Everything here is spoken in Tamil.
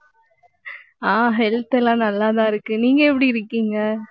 ஆஹ் health எல்லாம் நல்லாதான் இருக்கு. நீங்க எப்படி இருக்கீங்க?